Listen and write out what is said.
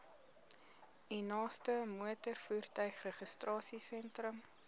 u naaste motorvoertuigregistrasiesentrum